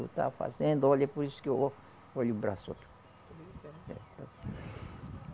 Está fazendo, olha, por isso que eu ó, olha o braço, ó. Pois é